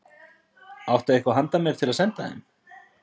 Áttu eitthvað handa mér til að senda þeim?